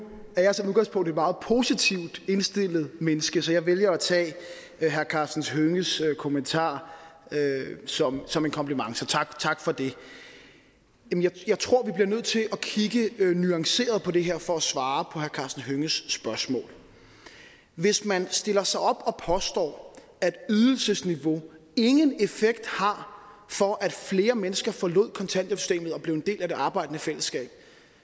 er jeg som udgangspunkt et meget positivt indstillet menneske så jeg vælger at tage herre karsten hønges kommentar som som en kompliment så tak tak for det jeg tror vi bliver nødt til at kigge nuanceret på det her for at svare på herre karsten hønges spørgsmål hvis man stiller sig op og påstår at ydelsesniveauet ingen effekt har for at flere mennesker forlod kontanthjælpssystemet og blev en del af det arbejdende fællesskab